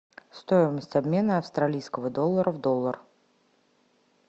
стоимость обмена австралийского доллара в доллар